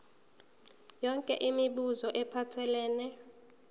yonke imibuzo ephathelene